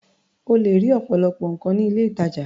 O lè rí ọ̀pọ̀lọpọ̀ nǹkan ní ilé-ìtajà.